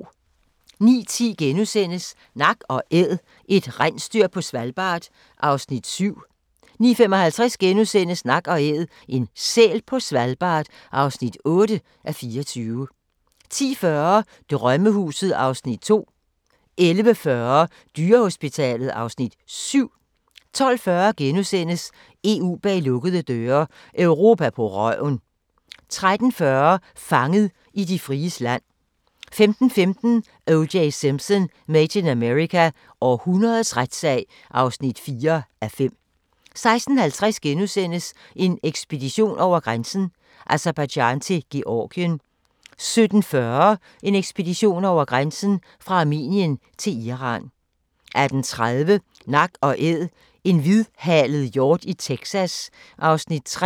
09:10: Nak & Æd – et rensdyr på Svalbard (7:24)* 09:55: Nak & Æd - en sæl på Svalbard (8:24)* 10:40: Drømmehuset (Afs. 2) 11:40: Dyrehospitalet (Afs. 7) 12:40: EU bag lukkede døre: Europa på røven * 13:40: Fanget i de fries land 15:15: O.J. Simpson: Made in America – århundredets retssag (4:5) 16:50: En ekspedition over grænsen: Aserbajdsjan til Georgien * 17:40: En ekspedition over grænsen: Fra Armenien til Iran 18:30: Nak & Æd – en hvidhalet hjort i Texas (Afs. 3)